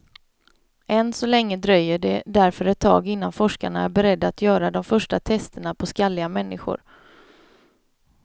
Än så länge dröjer det därför ett tag innan forskarna är beredda att göra de första testerna på skalliga människor.